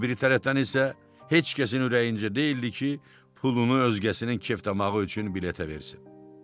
O bir tərəfdən isə heç kəsin ürəyincə deyildi ki, pulunu özgəsinin kef tamağı üçün biletə versin.